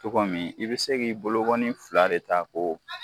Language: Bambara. Cogo min i bɛ se k'i bolokɔni fila de ta k'o